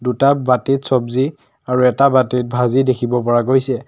দুটা বাটিত ছবজি আৰু এটা বাটিত ভাজি দেখিব পৰা গৈছে।